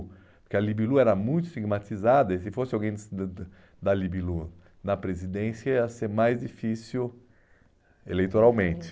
Porque a Libilu era muito estigmatizada e se fosse alguém da da da Libilu na presidência ia ser mais difícil eleitoralmente.